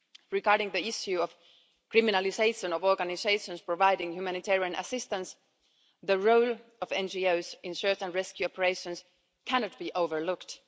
Regarding the issue of criminalisation of organisations providing humanitarian assistance, the role of NGOs in search and rescue operations cannot be overlooked.